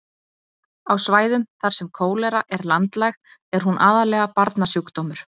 á svæðum þar sem kólera er landlæg er hún aðallega barnasjúkdómur